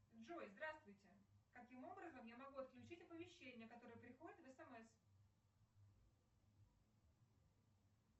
джой здравствуйте каким образом я могу отключить оповещения которые приходят в смс